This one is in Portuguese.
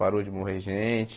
Parou de morrer gente.